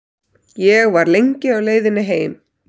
Ég var lengi á leiðinni heim.